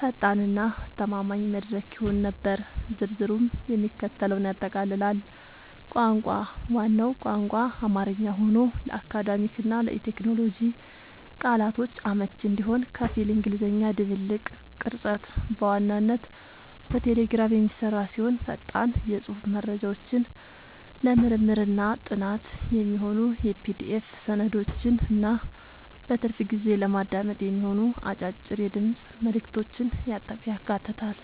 ፈጣን እና አስተማማኝ መድረክ ይሆን ነበር። ዝርዝሩም የሚከተለውን ያጠቃልላል - ቋንቋ፦ ዋናው ቋንቋ አማርኛ ሆኖ፣ ለአካዳሚክ እና ለቴክኖሎጂ ቃላቶች አመቺ እንዲሆን ከፊል እንግሊዝኛ ድብልቅ። ቅርጸት፦ በዋናነት በቴሌግራም የሚሰራ ሲሆን፣ ፈጣን የጽሑፍ መረጃዎችን፣ ለምርምርና ጥናት የሚሆኑ የPDF ሰነዶችን እና በትርፍ ጊዜ ለማዳመጥ የሚሆኑ አጫጭር የድምፅ መልዕክቶችን ያካትታል።